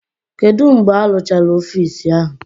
Kedu mgbe arụchara ọfisi ahụ?